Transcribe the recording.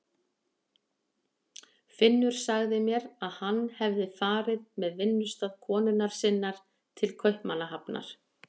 Finnur sagði mér að hann hefði farið með vinnustað konunnar sinnar til Kaupmannahafnar.